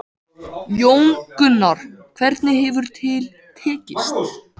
Jón Gunnar, hvernig hefur til tekist?